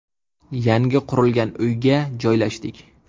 Yangi qurilgan uyga joylashdik.